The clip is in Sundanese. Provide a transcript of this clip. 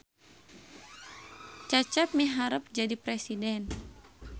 Cecep miharep jadi presiden